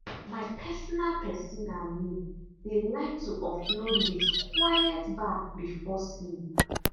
my personal person and me dey like to offload with quiet baff before sleep.